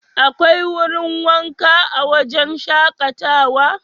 Akwai wurin wanka a wajen shakatawa?